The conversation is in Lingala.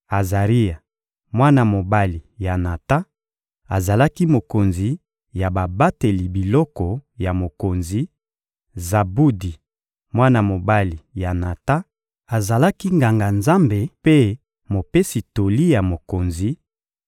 Azaria, mwana mobali ya Natan, azalaki mokonzi ya babateli biloko ya mokonzi; Zabudi, mwana mobali ya Natan, azalaki Nganga-Nzambe mpe mopesi toli ya mokonzi;